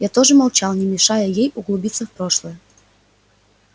я тоже молчал не мешая ей углубиться в прошлое